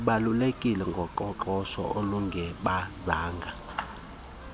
ibalulekileyo ngoqoqosho olungebanzanga